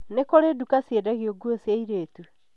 nĩ kurĩĩ dũka cĩendagia ngũo cia aĩritũ .